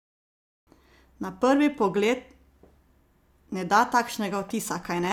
Na prvi pogled ne da takšnega vtisa, kajne?